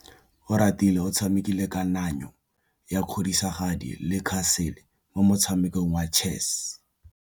Oratile o tshamekile kananyô ya kgosigadi le khasêlê mo motshamekong wa chess.